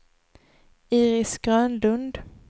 Iris Grönlund